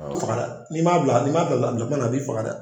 Faga n'i m'a bila n'i m'a bila a bila kuma na, a b'i faga dɛ